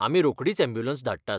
आमी रोखडीच अॅम्ब्युलंस धाडटात.